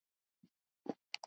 Þinn Ágúst.